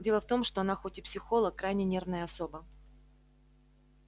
дело в том что она хоть и психолог крайне нервная особа